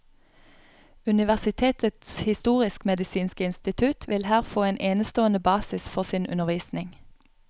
Universitetets historisk medisinske institutt ville her få en enestående basis for sin undervisning.